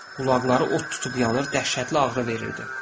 Qulaqları ot tutub yanır, dəhşətli ağrı verirdi.